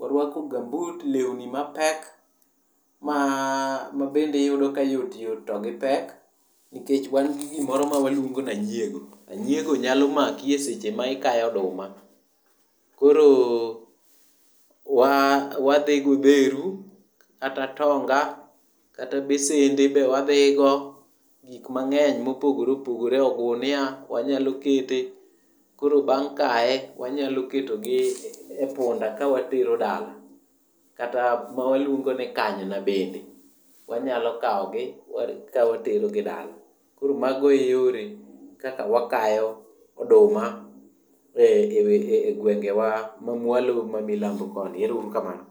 waruako gambut lewni mapek mabende iyudo ka yotyot to gipek, nikech wan gi gimoro ma waluongo ni anyiego. Anyiego nyalo maki seche ma ikayo oduma. Koro wadhi go odheru, kata atonga, kata besende be wadhigo, gik mang'eny mopogore opogore ogunia wanyalo kete, koro bang' kaye wanyalo ketogi e punda kawatero dala kata ma waluongo ni kanyna bende wanyalo kawogi wakawo watero gi dala. Koro mago e yore kaka wakayo oduma e gwengewa ma mwalo ma milambo koni. Ero uru kamano.